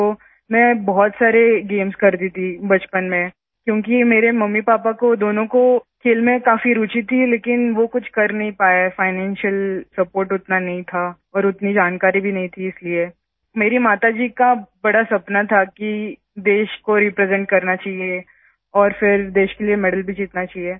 तो मैं बहुत सारे गेम्स करती थी बचपन में क्योंकि मेरे मम्मीपापा दोनों को खेल में काफी रूचि थी लेकिन वो कुछ कर नहीं पाए फाइनेंशियल सपोर्ट उतना नहीं था और उतनी जानकारी भी नहीं थी इसलिए मेरी माताजी का बड़ा सपना था कि देश को रिप्रेजेंट करना चाहिए और फिर देश के लिए मेडल भी जीतना चाहिए